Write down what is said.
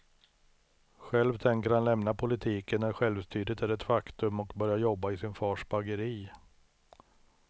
Själv tänker han lämna politiken när självstyret är ett faktum och börja jobba i sin fars bageri.